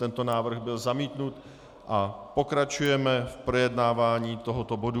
Tento návrh byl zamítnut a pokračujeme v projednávání tohoto bodu.